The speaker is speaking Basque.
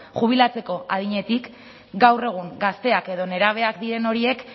jubilatzeko adinetik gaur egun gazteak edo nerabeak diren horiek